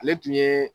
Ale tun ye